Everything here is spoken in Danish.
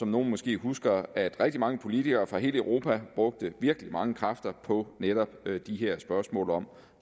nogle måske husker rigtig mange politikere fra hele europa brugte virkelig mange kræfter på netop de her spørgsmål om